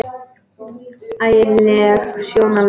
Ægi leg sjón alveg.